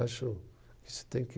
Acho que isso tem que